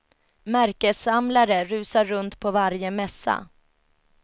Märkessamlare rusar runt på varje mässa.